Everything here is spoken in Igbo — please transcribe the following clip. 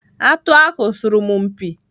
Atụ ahụ sọrọ m mpi.